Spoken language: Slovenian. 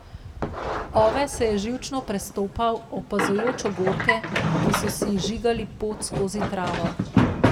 Ove se je živčno prestopal, opazujoč ogorke, ki so si izžigali pot skozi travo.